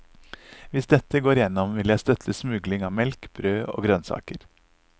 Hvis dette går gjennom, vil jeg støtte smugling av melk, brød og grønnsaker.